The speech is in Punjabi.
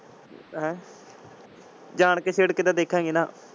ਹੈਂ ਜਾਣਕੇ ਛੇੜਕੇ ਤੇ ਦੇਖਾਂਗੇ ਨਾ।